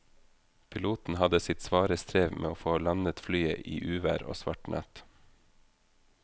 Piloten hadde sitt svare strev med å få landet flyet i uvær og svart natt.